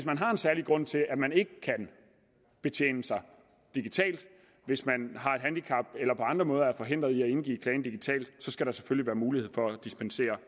særlig grund til at man ikke kan betjene sig digitalt hvis man har et handicap eller på andre måder er forhindret i at indgive klagen digitalt så skal der selvfølgelig være mulighed for at dispensere